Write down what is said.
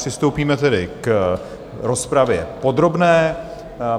Přistoupíme tedy k rozpravě podrobné.